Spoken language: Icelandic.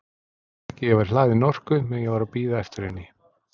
Það vantaði ekki að ég væri hlaðinn orku meðan ég var að bíða eftir henni.